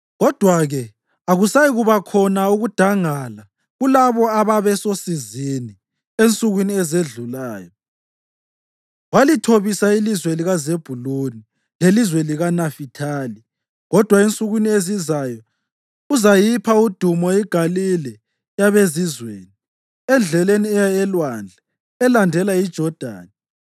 Kodwa-ke akusayikuba khona ukudangala kulabo ababesosizini. Ensukwini ezedlulayo walithobisa ilizwe likaZebhuluni lelizwe likaNafithali. Kodwa ensukwini ezizayo uzayipha udumo iGalile yabezizweni, eNdleleni eya oLwandle elandela iJodani: